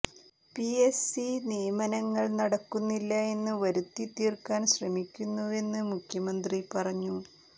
P S C നിയമനങ്ങൾ നടക്കുന്നില്ല എന്ന് വരുത്തിത്തീർക്കാൻ ശ്രമിക്കുന്നുവെന്ന് മുഖ്യമന്ത്രി പറഞ്ഞു